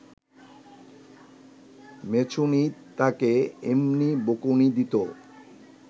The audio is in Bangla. মেছুনী তাকে এমনি বকুনি দিত